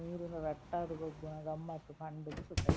ನೀರ್ ನ್ ರಟ್ಟಾದ್ ಗೊಬ್ಬುನ ಗಮ್ಮತ್ ಪಂಡ್ ದ್ ಸುಖ ಇಜ್ಜಿ.